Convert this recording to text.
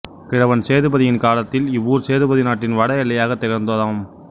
கிழவன் சேதுபதியின் காலத்தில் இவ்வூர் சேதுபதி நாட்டின் வட எல்லையாகத் திகழ்ந்ததாம்